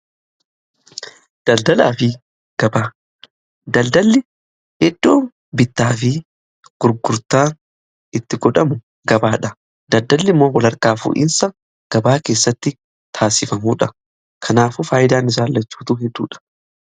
daldalli iddoo bittaa fi gurgurtaan itti godhamu gabaadha. daldalli immoo wal hirkaa fuudhiinsa gabaa keessatti taasifamuudha. kanaafu faayidaan isaan lachuutu hedduudha.